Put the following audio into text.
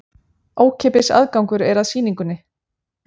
Ókeypis aðgangur er að sýningunni